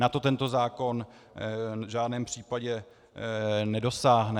Na to tento zákon v žádném případě nedosáhne.